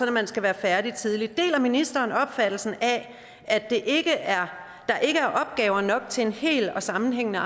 at man skal være færdig tidligt deler ministeren opfattelsen af at der ikke er opgaver nok til en hel og sammenhængende